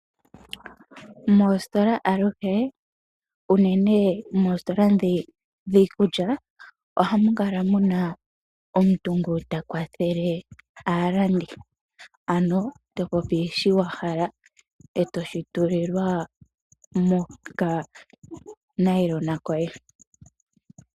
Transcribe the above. Moositola aluhe unene moositola dhiikulya, ohamu kala muna omuntu ngu ta kwathele aalandi. Ano to popi shoka wa hala e to shi tulilwa mokanayilona koye.